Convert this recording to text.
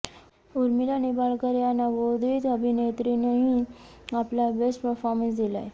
उर्मिला निंबाळकर या नवोदित अभिनेत्रीनंही आपला बेस्ट परफॉर्मन्स दिलाय